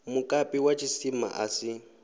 mukapi wa tshisima a si